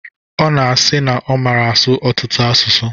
Ọ na-asi na ọ mara asụ ọtụtụ asụsụ.